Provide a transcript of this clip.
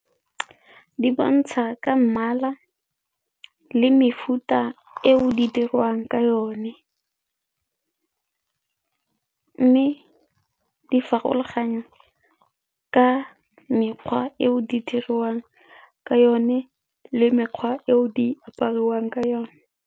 Di bontsha ka mmala le mefuta eo di dirwang ka yone mme di farologana ka mekgwa eo di diriwang ka yone le mekgwa eo di apariwang ka yone.